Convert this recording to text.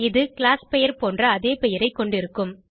இது கிளாஸ் பெயர் போன்ற அதே பெயரை கொண்டிருக்கும்